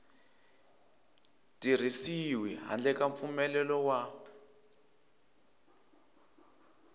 tirhisiwi handle ka mpfumelelo wa